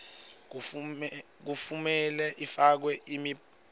lekumele ifakwe emibikweni